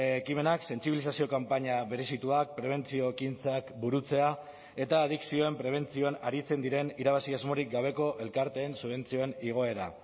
ekimenak sentsibilizazio kanpaina berezituak prebentzio ekintzak burutzea eta adikzioen prebentzioan aritzen diren irabazi asmorik gabeko elkarteen subentzioen igoera